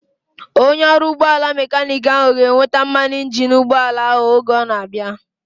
Onye ọrụ ụgbọala mekaniiki ahu ga-eweta mmanụ injini ụgbọala ahu oge ọ na-abịa